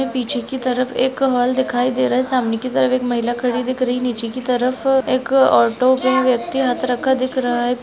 पीछे की तरफ एक कमल दिखाई दे रहा है सामने की तरफ एक महिला खड़ी दिख रही नीचे की तरफ एक ऑटो पे व्यक्ति अत्रक का दिख रहा है।